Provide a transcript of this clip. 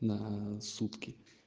на сутки